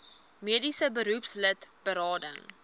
mediese beroepslid berading